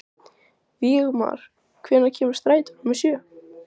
Vígmar, hvenær kemur strætó númer sjö?